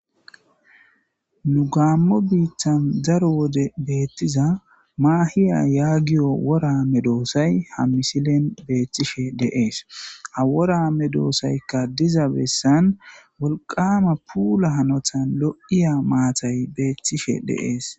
Nu Gamo bitta daro gize betiza mahiya yagiyo wora medosay ha xeelishe dees. Ha wora medosayka diza bessan wolqama puula hanotan lo'iya maatay beetishe de'es.